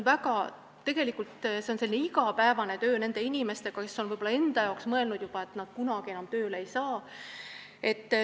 Aga tegelikult tähendab see igapäevast tööd nende inimestega, kes on võib-olla juba mõelnud, et nad kunagi enam tööle ei saa.